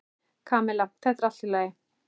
Kamilla, þetta er allt í lagi.